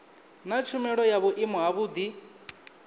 naa tshumelo ya vhuimo havhudi